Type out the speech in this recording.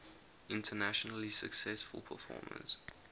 internationally successful performers